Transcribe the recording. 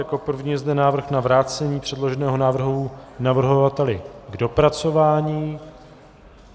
Jako první je zde návrh na vrácení předloženého návrhu navrhovateli k dopracování.